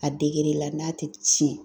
A degere la n'a tɛ tiɲɛ.